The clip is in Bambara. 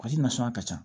Kɔsi nasɔn ka ca